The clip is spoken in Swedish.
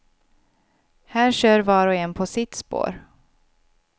Här kör var och en på sitt spår.